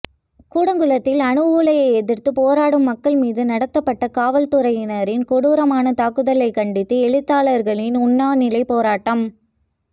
கூடங்குளத்தில் அணு உலையை எதிர்த்து போராடும் மக்கள் மீது நடத்தப்பட்ட காவல்துறையினரின் கொடூரமான தாக்குதலைக் கண்டித்து எழுத்தாளர்களின் உண்ணா நிலைப்போராட்டம்